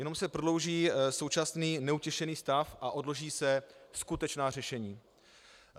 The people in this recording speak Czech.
Jenom se prodlouží současný neutěšený stav a odloží se skutečná řešení.